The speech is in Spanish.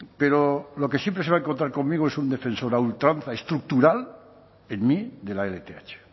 pero lo que siempre se va a encontrar conmigo es un defensor a ultranza estructural en mí de la lth